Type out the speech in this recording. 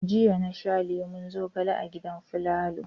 Jiya na sha lemon zogale a gidan Falalu.